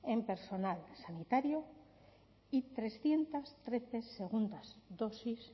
en personal sanitario y trescientos trece segundas dosis